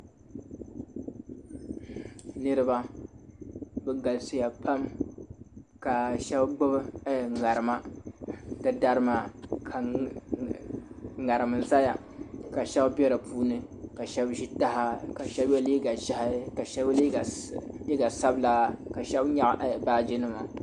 Niriba bɛ galisiya pam ka shɛba gbubi ŋarima di dari maa ka ŋariŋ zaya ka shɛba be di puuni ka shɛba ʒiya taha ka shɛba ye liiga ʒɛhi ka shɛba ye liiga sabila ka shɛba nyaɣi baajinima.